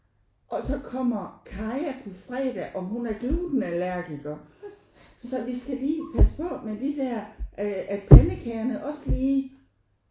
Og så kommer Kaja på fredag og hun er gluten allergiker så vi skal lige passe på med de der øh at pandekagerne også lige